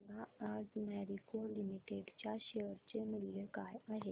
सांगा आज मॅरिको लिमिटेड च्या शेअर चे मूल्य काय आहे